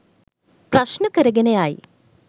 ප්‍රශ්න කරගෙන යයි.